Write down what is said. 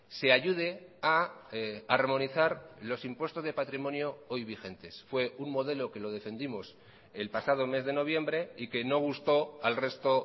se ayude a armonizar los impuestos de patrimonio hoy vigentes fue un modelo que lo defendimos el pasado mes de noviembre y que no gustó al resto